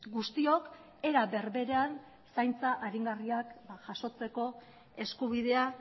guztiok era berberan zaintza aringarriak jasotzeko eskubidea